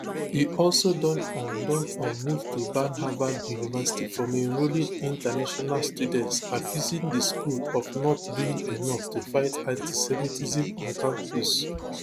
e also don um don um move to ban harvard university from enrolling international students accusing di school of not doing enough to fight antisemitism on campus